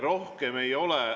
Rohkem ei ole ...